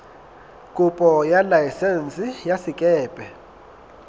kopo ya laesense ya sekepe